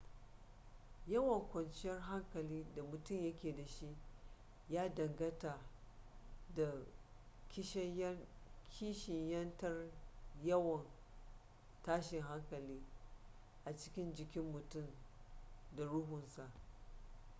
yawan kwanciyar hankali da mutum yake da shi ya danganta da kishiyantar yawan tashin hankali a cikin jikin mutum da ruhunsa